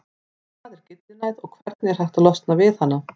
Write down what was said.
Hvað er gyllinæð og hvernig er hægt að losna við hana?